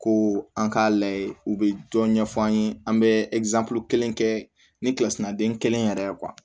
Ko an k'a lajɛ u bɛ dɔ ɲɛf'an ye an bɛ kelen kɛ ni kilasi naden kelen yɛrɛ ye